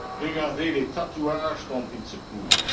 Regardez les tatouages dont ils se couvrent.